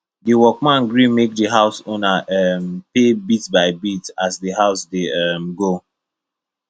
the workman gree make the house owner um pay bit by bit as the work dey um go